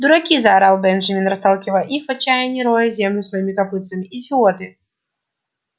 дураки заорал бенджамин расталкивая их и в отчаянии роя землю своими копытцами идиоты